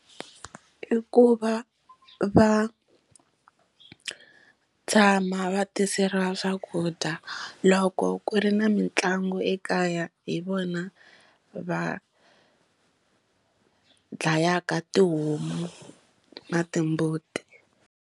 I ku va va tshama va tiseriwa swakudya loko ku ri na mitlangu ekaya hi vona va dlayaka tihomu na timbuti.